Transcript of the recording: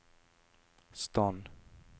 stand